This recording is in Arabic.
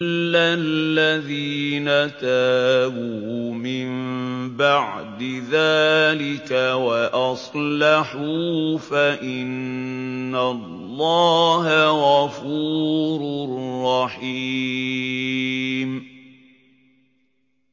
إِلَّا الَّذِينَ تَابُوا مِن بَعْدِ ذَٰلِكَ وَأَصْلَحُوا فَإِنَّ اللَّهَ غَفُورٌ رَّحِيمٌ